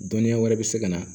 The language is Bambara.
Dɔnniya wɛrɛ bɛ se ka na